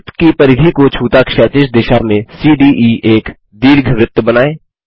वृत्त की परिधि को छूता क्षैतिज दिशा में सीडीई एक दीर्घवृत्त बनाएँ